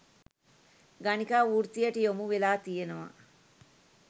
ගණිකා වෘත්තියට යොමු වෙලා තියෙනව.